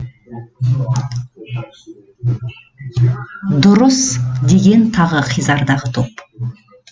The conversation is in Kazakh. дұрыс деген тағы хизардағы топ